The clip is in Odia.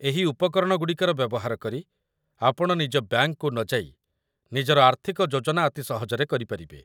ଏହି ଉପକରଣଗୁଡ଼ିକର ବ୍ୟବହାର କରି, ଆପଣ ନିଜ ବ୍ୟାଙ୍କକୁ ନଯାଇ, ନିଜର ଆର୍ଥିକ ଯୋଜନା ଅତି ସହଜରେ କରିପାରିବେ